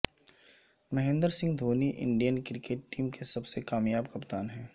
Mahendra Singh Dhoni Indian cricket team کے سب سے کامیاب کپتان ہیں